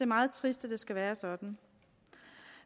meget trist at det skal være sådan